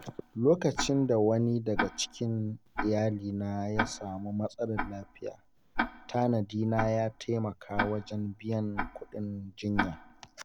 Lokacin da wani daga cikin iyalina ya samu matsalar lafiya, tanadina ya taimaka wajen biyan kuɗin jinya.